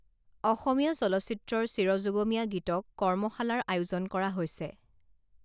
অসমীয়া চলচ্চিত্ৰৰ চিৰযুগমীয়া গীতক কৰ্মশালাৰ আয়োজন কৰা হৈছে